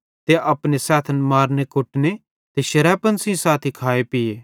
ते अपने सैथन मारने कुटने ते शरैपण सेइं खाए ते पीए